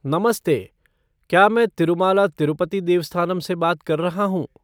नमस्ते! क्या मैं तिरुमाला तिरुपति देवस्थानम से बात कर रहा हूँ?